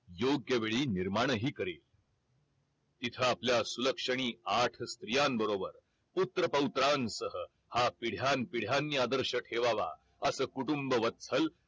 योग्य वेळी निर्माणही करेल तिथ आपल्या सुलक्षणी आठ स्त्रियांबरोबर पुत्रपौत्रांसह हा पिढ्यान पिढ्यांनी आदर्श ठेवावा अस कुटुंब वत्सल